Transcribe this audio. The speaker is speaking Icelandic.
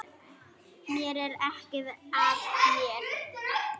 Mér er ekið af þér.